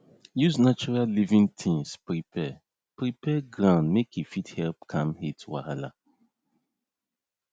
use natural living tins prepare prepare ground make e fit help calm heat wahala